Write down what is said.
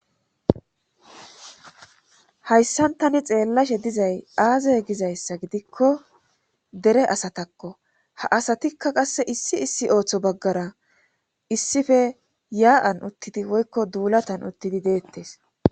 hayssan tani xeellashe dizay aazey gizayssa gidikko dere asatakko ha asatikka qasse issi issi ooththo baggara issife yaa7an uttidi woykko duulatan uttidi deettes